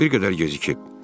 Amma bir qədər gecikib.